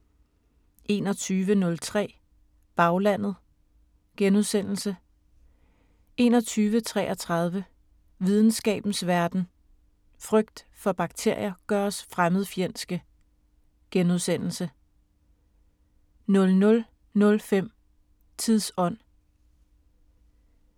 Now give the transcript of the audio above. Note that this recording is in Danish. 21:03: Baglandet * 21:33: Videnskabens Verden: Frygt for bakterier gør os fremmedfjendske * 00:05: Tidsånd